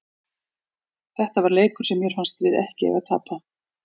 Þetta var leikur sem mér fannst við ekki eiga að tapa.